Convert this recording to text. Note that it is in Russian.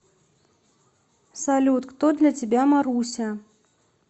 салют кто для тебя маруся